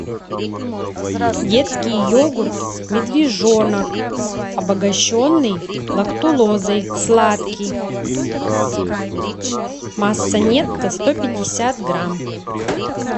детский йогурт медвежонок обогащенный лактулозой сладкий масса нетто сто пятьдесят грамм